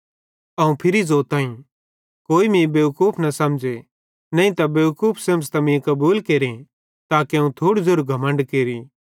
अवं फिरी ज़ोताईं कोई मीं बेवकूफ न समझ़े नईं बेवकूफ समझ़तां मीं कबूल केरे ताके अवं थोड़ू ज़ेरू घमण्ड केरि